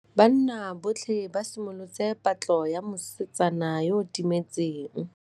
Banna botlhê ba simolotse patlô ya mosetsana yo o timetseng.